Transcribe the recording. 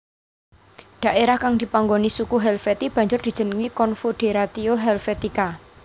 Dhaerah kang dipanggoni suku Helvetii banjur dijenengi Confoederatio Helvetica